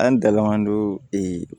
An dala an do ee